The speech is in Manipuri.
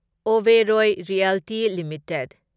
Oberoi realty limited